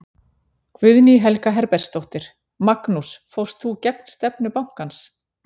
Guðný Helga Herbertsdóttir: Magnús fórst þú gegn stefnu bankans?